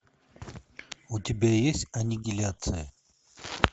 у тебя есть аннигиляция